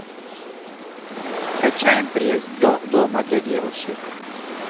качаем пресс дома для девушек